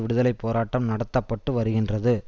விடுதலை போராட்டம் நடத்த பட்டு வருகின்றது